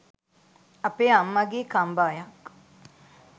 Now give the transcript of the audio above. අපේ අම්මගේ කම්බායක්